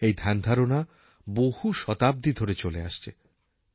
এই ধ্যানধারণা বহু শতাব্দী ধরে চলে আসছে